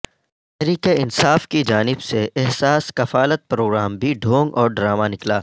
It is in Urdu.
تحریک انصاف کی جانب سے احساس کفالت پروگرام بھی ڈھونگ اور ڈرامہ نکلا